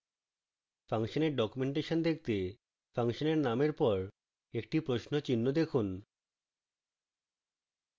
ফাংশনের ডকুমেন্টেশন দেখতে ফাংশনের নামের পর একটি প্রশ্ন চিহ্ন লিখুন